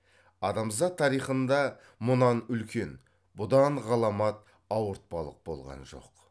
адамзат тарихында мұнан үлкен бұдан ғаламат ауыртпалық болған жоқ